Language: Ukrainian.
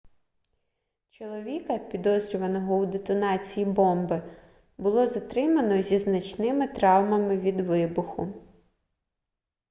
чоловіка підозрюваного у детонації бомби було затримано зі значними травмами від вибуху